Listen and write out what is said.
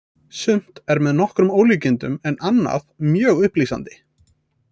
Sumt er með nokkrum ólíkindum en annað mjög upplýsandi.